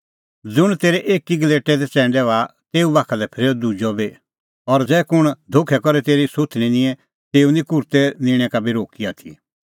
ज़ुंण तेरै एकी गलेटै दी च़ैंडै बाहा तेऊ बाखा लै फरेऊ दुजअ बी और ज़ै कुंण धोखै करै तेरी सुथणीं निंए तेऊ निं कुर्तै निंणै का बी रोक्की आथी